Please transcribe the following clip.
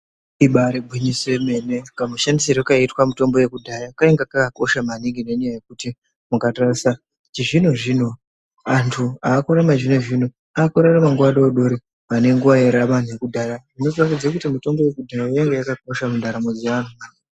Ibarigwinyiso yemene kamushandisirwe kaitwa mitombo yekudhaya kanga kakakosha maningi nenyaya yekuti mukatarisa chizvino zvino antu akakakurachizvino zvino akurarama nguva dodori pane nguva yararama anhu ekudhaya zvinoratidza kuti mutombo wekudhaya wanga wakakosha mundaramo dzeanhu.